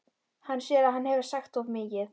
Hann sér að hann hefur sagt of mikið.